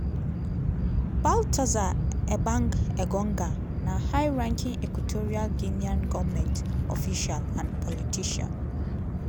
baltasar ebang engonga na high-ranking equatorial guinean goment official and politician.